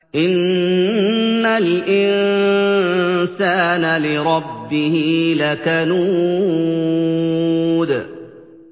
إِنَّ الْإِنسَانَ لِرَبِّهِ لَكَنُودٌ